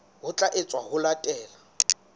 ho tla etswa ho latela